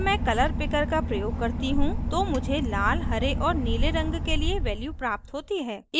जब मैं colour picker का प्रयोग करती हूँ तो मुझे लाल हरे और नीले रंग के लिए values प्राप्त होती हैं